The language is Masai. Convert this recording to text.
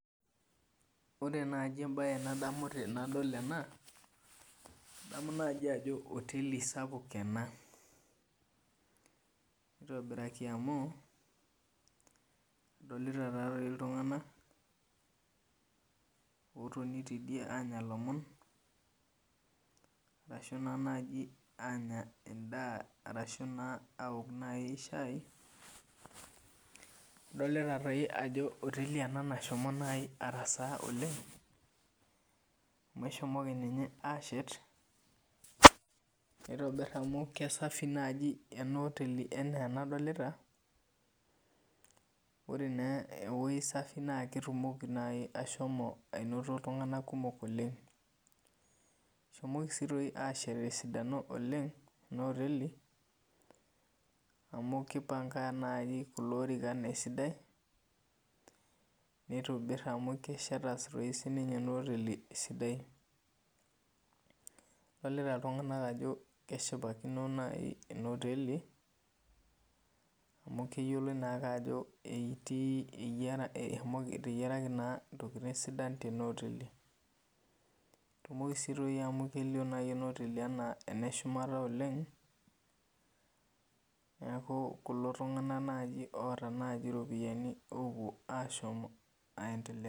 Ore nai embae ndamu tanadol ena adamu ajo oteli sapuk ena nitobiraki amu adolta ltunganak otoni tidie anya lomon ashu nai anya endaa ashu aok shai adolta ajo oteli ena nashomo arasaa oleng amu eshomoki ninye ashet nitobir amu kesafi naibenaoteli ana enadilta ore nai ewoi safi naketumoki ashomo ainoto ltunganak kumok oleng eshomoki si ashet tesidano oleng amu kipanga kulo orikan esidai nitobir amu kesheta enaa oteli esidai adolta ltunganak ajo keshipakino enaaoteli amu keyioloi ajo etegiaraki ntokitin sidan tenaoteli amu kelio nai enaoteli ana eneshumata oleng neaku kulo tunganak nai oota ropiyanu opuo aiendelea.